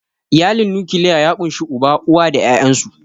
Iyalin nukiliya ya ƙunshi Uba, uwa da ƴaƴansu.